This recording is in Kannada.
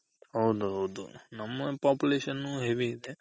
ಹೌದೌದು population heavy ಇದೆ.